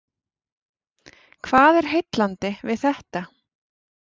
Hvað er heillandi við þetta?